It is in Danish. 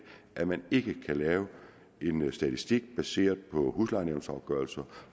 at man ikke kan lave en statistik baseret på huslejenævnsafgørelser